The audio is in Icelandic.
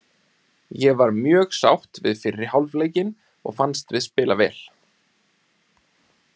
Ég var mjög sátt við fyrri hálfleikinn og fannst við spila vel.